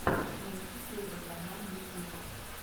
найти первый канал ютьюб